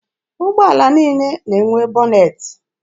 Ụgbọala niile na-enwe bọnetị.